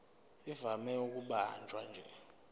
ivame ukubanjwa nje